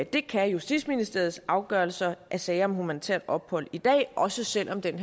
det kan justitsministeriets afgørelser af sager om humanitært ophold i dag også selv om den